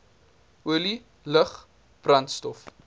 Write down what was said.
olie lug brandstof